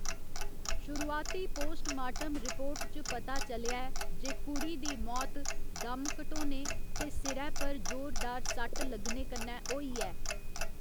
शुरुआती पोस्टमार्टम रिपोर्टं च पता चलेआ ऐ जे कुड़ी दी मौत दम घटोने ते सिरै पर जोरदार सट्ट लग्गने कन्नै होई ऐ।